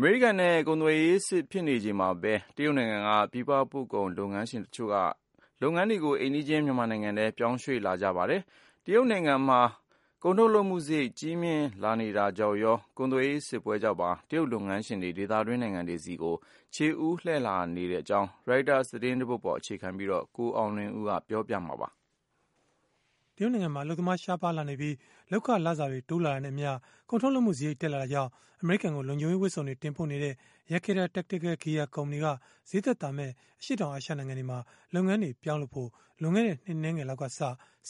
အမေရိကန်နဲ့ ကုန်သွယ်ရေးစစ် ဖြစ်နေချိန်မှာပဲ တရုတ်နိုင်ငံက ပြည်ပပို့ကုန်လုပ်ငန်းရှင် တချို့က လုပ်ငန်းတွေကို အိမ်နီးချင်း မြန်မာနိုင်ငံထဲ ပြောင်းရွှေ့လာနေကြပါတယ်။ တရုတ်နိုင်ငံမှာ ကုန်ထုတ်လုပ်မှုစရိတ် ကြီးမြင့်လာနေတာကြောင့်ရော၊ ကုန်သွယ်ရေးစစ်ပွဲကြောင့်ပါ တရုတ်လုပ်ငန်းရှင်တွေ ဒေသတွင်း နိုင်ငံတွေကို ခြေဦးလှည့်လာနေတဲ့အကြောင်း Reuters သတင်းဆောင်းပါးကိုတော့ ကိုအောင်လွင်ဦးက ပြောပြပေးမှာပါ။ တရုတ်နိုင်ငံမှာ အလုပ်သမားရှားပါးလာနေပြီး၊ လုပ်ခလစာတွေ တိုးလာတာနဲ့အမျှ ကုန်ထုတ်လုပ်မှုစရိတ် တက်လာတာကြောင့် အမေရိကန်ကို လုံခြုံရေးဝတ်စုံတွေ တင်ပို့နေတဲ့ Yakeda Tactical Gear ကုမ္ပဏီက ဈေးသက်သာမယ့် အရှေ့တောင်အာရှ နိုင်ငံတွေမှာ လုပ်ငန်းတွေ ပြောင်းလုပ်ဖို့ လွန်ခဲ့တဲ့ နှစ်အနည်းငယ်လောက်ကစ စ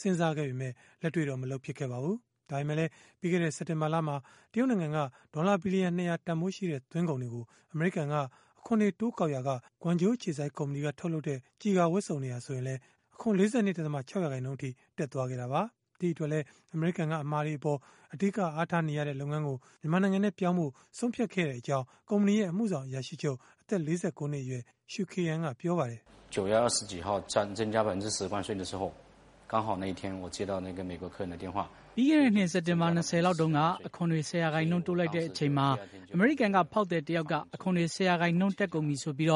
ဉ်းစားခဲ့ပေမဲ့ လက်တွေ့တော့ မလုပ်ဖြစ်ခဲ့ပါဘူး။ ဒါပေမဲလည်း ပြီးခဲ့တဲ့ စက်တင်ဘာလမှာ တရုတ်နိုင်ငံက ဒေါ်လာဘီလီယံ ၂၀၀ တန်ဘိုးရှိတဲ့ သွင်းကုန်တွေကို အမေရိကန်က အခွန်တွေ တိုးကောက်ရာက၊ Guangzhou အခြေစိုက် သူ့ကုမ္ပဏီက ထုတ်တဲ့ ကျည်ကာဝတ်စုံတွေဟာ ဆိုရင်လည်း အခွန် ၄၂.၆ ရာခိုင်နှုန်းအထိ တက်သွားခဲ့တာပါ။ ဒီအတွက်လည်း အမေရိကန်က အမှာတွေအပေါ် အဓိက အားထားနေတဲ့ လုပ်ငန်းကို မြန်မာနိုင်ငံထဲကို ပြောင်းဖို့ ဆုံးဖြတ်ခဲ့ရကြောင်း ကုမ္ပဏီရဲ့ အမှုဆောင် အရာရှိချုုပ် အသက် ၄၉ နှစ်အရွယ် Shu Ke'an ကပြောပါတယ်။ “ပြီးခဲ့တဲ့နှစ် စက်တင်ဘာ ၂၀ လောက်တုန်းက အခွန်တွေ ၁၀ ရာခိုင်နှုန်း တိုးလိုက်တဲ့အချိန်မှာ အမေရိကန်က ဖောက်သည်တယောက်က အခွန်တွေ ၁၀ ရာခိုင်နှုန်း တက်ကုန်ပြီဆိုပြီး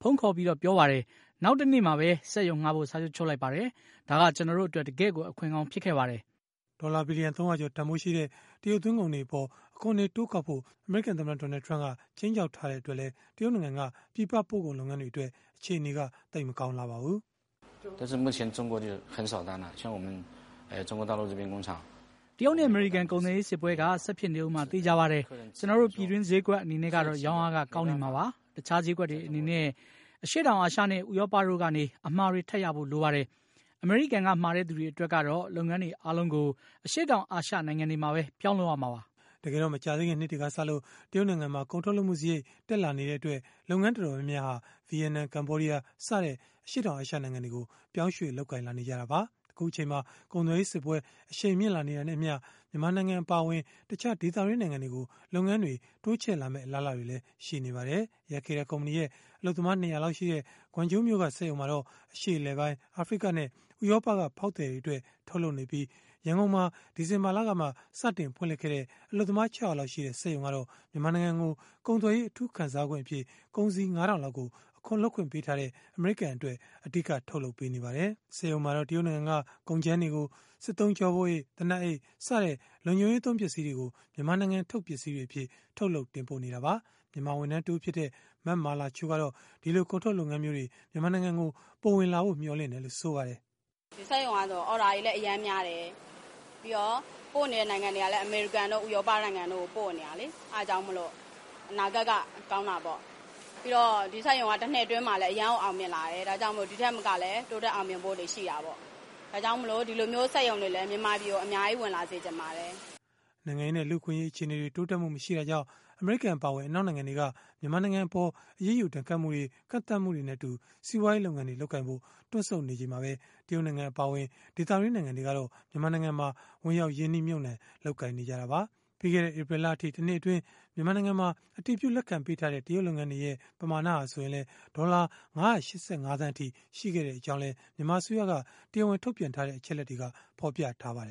ဖုန်းခေါ်ပြီး ပြောပါတယ်။ နောက်တနေ့ပဲ စက်ရုံငှားဖို့ စာချုပ်ချုပ်လိုက်ပါတယ်။ ဒါက ကျနော်တို့အတွက် တကယ့်ကို အခွင့်ကောင်း ဖြစ်ခဲ့ပါတယ်။” ဒေါ်လာဘီလီယံ ၃၀၀ ကျော် တန်ဘိုးရှိတဲ့ တရုတ်သွင်းကုန်တွေအပေါ် အခွန်တွေ တိုးကောက်ဖို့ အမေရိကန်သမ္မတ Donald Trump က ခြိမ်းခြောက်ထားတဲ့ အတွက်လည်း တရုတ်နိုင်ငံက ပြည်ပပို့ကုန်လုပ်ငန်းတွေအတွက် အခြေအနေက သိပ်မကောင်းလှပါဘူး။ “တရုတ်နဲ့ အမေရိကန် ကုန်သွယ်ရေးစစ်ပွဲက ဆက်ဖြစ်နေဦးမှာ သေချာပါတယ်။ ကျနော်တို့ ပြည်တွင်းဈေးကွက် အနေနဲ့ကတော့ ရောင်းအားက ကောင်းနေမှာပါ။ တခြားဈေးကွက်တွေ အနေနဲ့ အရှေ့တောင်အာရှနဲ့ ဥရောပတို့ကနေ အမှာတွေ ထပ်ရဖို့ လိုပါတယ်။ အမေရိကန်က မှာတဲ့သူတွေအတွက်ကတော့ လုပ်ငန်းတွေအားလုံးကို အရှေ့တောင်အာရှ နိုင်ငံတွေမှာပဲ ပြောင်းလုပ်ရမှာပါ။” တကယ်တော့ မကြာသေးခင်နှစ်တွေကစလို့ တရုတ်နိုင်ငံမှာ ကုန်ထုတ်လုပ်မှုစရိတ် တက်လာနေတဲ့အတွက် လုပ်ငန်းတော်တော်များများဟာ ဗီယက်နမ်၊ ကမ္ဘောဒီးယား စတဲ့ အရှေ့တောင်အာရှနိုင်ငံတွေကို ပြောင်းရွှေ့ လုပ်ကိုင်လာနေကြတာပါ။ အခုအချိန်မှာ ကုန်သွယ်ရေးစစ်ပွဲ အရှိန်မြင့်လာနေတာနဲ့အမျှ မြန်မာနိုင်ငံ အပါအဝင် တခြားဒေသတွင်း နိုင်ငံတွေကို လုပ်ငန်းတွေ တိုးချဲ့လာမယ့် အလားအလာတွေလည်း ရှိနေပါတယ်။ Yakeda ကုမ္ပဏီရဲ့ အလုပ်သမား ၂၀၀ လောက်ရှိတဲ့ Guangzhou မြို့က စက်ရုံမှာတော့ အရှေ့အလယ်ပိုင်း၊ အာဖရိကနဲ့ ဥရောပက ဖောက်သည်တွေအတွက် ထုတ်လုပ်နေပြီး ရန်ကုန်မှာ ဒီဇင်ဘာလကမှ စတင်ဖွင့်လှစ်ခဲ့တဲ့ အလုပ်သမား ၆၀၀ လောက်ရှိတဲ့ စက်ရုံကတော့ မြန်မာနိုင်ငံကို ကုန်သွယ်ရေးအထူးခံစားခွင့်အဖြစ် ကုန်စည် ၅ ထောင်လောက်ကို အခွန်လွတ်ပေးထားတဲ့ အမေရိကန်အတွက် အဓိက ထုတ်လုပ်ပေးနေပါတယ်။ စက်ရုံမှာတော့ တရုတ်နိုင်ငံက ကုန်ကြမ်းတွေကို စစ်သုံးကျောပိုးအိတ်၊ သေနတ်အိတ်စတဲ့ လုံခြုံရေးသုံး ပစ္စည်းတွေကို မြန်မာနိုင်ငံထုတ် ပစ္စည်းတွေအဖြစ် ထုတ်လုပ် တင်ပို့နေတာပါ။ မြန်မာဝန်ထမ်းတဦးဖြစ်တဲ့ မမာလာချို ကတော့ ဒီလိုကုန်ထုတ်လုပ်ငန်းမျိုးတွေ မြန်မာနိုင်ငံကို ပိုဝင်လာဖို့ မျှော်လင့်တယ်လို့ ဆိုပါတယ်။ “စက်ရုံကတော့ အော်ဒါတွေလည်းအရမ်းများတယ်။ ပြီးတော့ ပို့နေတဲ့ နိုင်ငံတွေကလည်း အမေရိကန်တို့ ဥရောပတို့ကို ပို့နေတာလေ။ အဲဒါကြောင့်မို့လို့ အနာဂတ်ကကောင်းတာပေါ့ ပြီးတော့ ဒီစက်ရုံကလည်း တနှစ်အတွင်းမှာ အရမ်းကိုအောင်မြင်လာတယ် ဒီထက်ပိုပြီးတော့လည်း တိုးတက်အောင်မြင်ဖို့ရှိတာပေါ့။ ဒါကြောင့်မို့ ဒီလိုမျိုးစက်ရုံတွေလည်း မြန်မာပြည်ကို အများကြီး ဝင်လာစေချင်ပါတယ်။” နိုင်ငံရေးနဲ့ လူ့အခွင့်အရေး အခြေအနေတွေ တိုးတက်မှုမရှိတာကြောင့် အမေရိကန် အပါအဝင် အနောက်နိုင်ငံတွေက မြန်မာနိုင်ငံအပေါ် အရေးယူဒဏ်ခတ်မှုတွေ ကန့်သတ်မှုတွေနဲ့အတူ စီးပွားရေးလုပ်ငန်းတွေ လုပ်ကိုင်ဖို့ တွန့်ဆုတ်နေချိန်မှာပဲ တရုတ်နိုင်ငံ အပါအဝင် ဒေသတွင်း နိုင်ငံတွေကတော့ မြန်မာနိုင်ငံမှာ ဝင်ရောက် ရင်းနှီးမြှုပ်နှံ လုပ်ကိုင်နေကြတာပါ။ ပြီးခဲ့တဲ့ ဧပြီလအထိ တနှစ်အတွင်း အတည်ပြု လက်ခံပေးထားတဲ့ တရုတ်လုပ်ငန်းတွေရဲ့ ပမာဏဟာ ဆိုရင်လည်း ဒေါ်လာ ၅၈၅ သန်းအထိ ရှိခဲ့ကြောင်းလည်း မြန်မာအစိုးရက တရားဝင်ထုတ်ပြန်တဲ့ အချက်အလက်တွေက ဖော်ပြထားပါတယ်